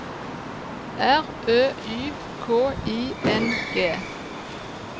R Ø Y K I N G